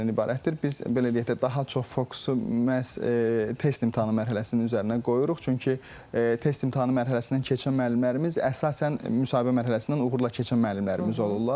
Biz belə deyək də, daha çox fokusu məhz test imtahanı mərhələsinin üzərinə qoyuruq, çünki test imtahanı mərhələsindən keçən müəllimlərimiz əsasən müsahibə mərhələsindən uğurla keçən müəllimlərimiz olurlar.